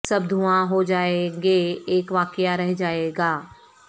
سب دھواں ہو جائیں گے اک واقعہ رہ جائے گا